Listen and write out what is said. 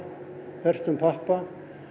hertum pappa